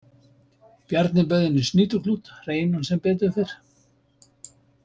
Bjarni bauð henni snýtuklút, hreinan sem betur fer.